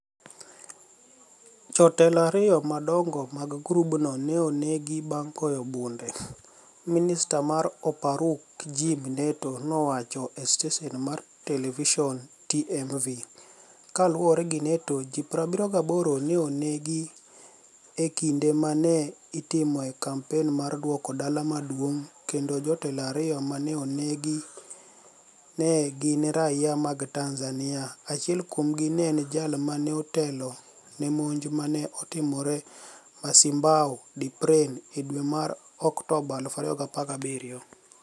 Jotelo ariyo madonigo mag grubno ni e oni egi banig' goyo bunide", Miniista mar Oparruok Jaime ni eto nowacho e steseni mar televisoni TMV. Kaluwore gi ni eto, ji 78 ni e oni egi e kinide ma ni e itimoe kampeni mar duoko dala maduonig'no kenido jotelo ariyo ma ni e oni egi ni e gini raia mag Tanizaniia, achiel kuomgi ni e eni jal ma ni e otelo ni e monij ma ni e otimore Mocimboa da Praia e dwe mar Oktoba 2017.